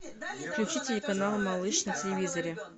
включи телеканал малыш на телевизоре